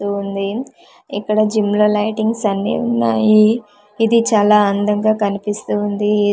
ఉంది ఇక్కడ జిమ్ ల లైటింగ్స్ అన్నీ ఉన్నాయి ఇది చాలా అందంగా కనిపిస్తూ ఉంది.